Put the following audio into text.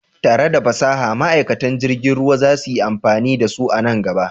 Tare da fasaha, ma'aikatan jirgin ruwa za su yi amfani da su a nan gaba.